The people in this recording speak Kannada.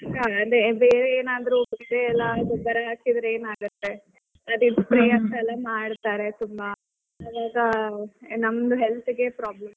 ಅದೇ ಬೇರೆ ಏನಾದ್ರೂ ಗೊಬ್ಬರ ಎಲ್ಲಾ ಹಾಕಿದ್ರೆ ಏನಾಗುತ್ತೆ ಇವಾಗ? ನಮಗ್ health ಗೆ problem.